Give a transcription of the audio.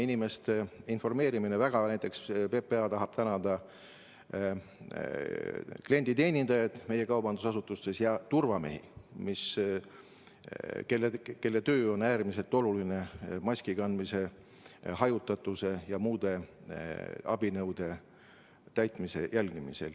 Mis puutub inimeste informeerimisse, siis PPA tahab tänada klienditeenindajaid meie kaubandusasutustes ja turvamehi, kelle töö on äärmiselt oluline maski kandmise, hajutatuse ja muude reeglite täitmise jälgimisel.